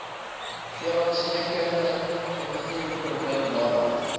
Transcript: veeartsenykundige invoerpermit nadat